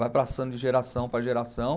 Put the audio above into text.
Vai passando de geração para geração.